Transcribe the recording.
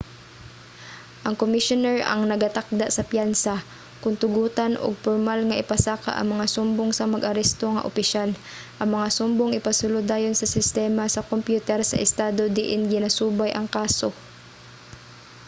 ang komisyoner ang nagatakda sa piyansa kon tugutan ug pormal nga ipasaka ang mga sumbong sa mag-aresto nga opisyal. ang mga sumbong ipasulod dayon sa sistema sa kompyuter sa estado diin ginasubay ang kaso